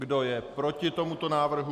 Kdo je proti tomuto návrhu?